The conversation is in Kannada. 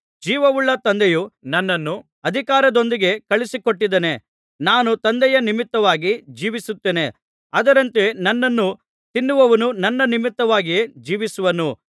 ಜೀವವುಳ್ಳ ತಂದೆಯು ನನ್ನನ್ನು ಅಧಿಕಾರದೊಂದಿಗೆ ಕಳುಹಿಸಿಕೊಟ್ಟಿದ್ದಾನೆ ನಾನು ತಂದೆಯ ನಿಮಿತ್ತವಾಗಿ ಜೀವಿಸುತ್ತೇನೆ ಅದರಂತೆ ನನ್ನನ್ನು ತಿನ್ನುವವನೂ ನನ್ನ ನಿಮಿತ್ತವಾಗಿಯೇ ಜೀವಿಸುವನು